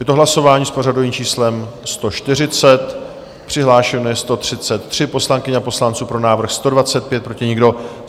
Je to hlasování s pořadovým číslem 140, přihlášeno je 133 poslankyň a poslanců, pro návrh 125, proti nikdo.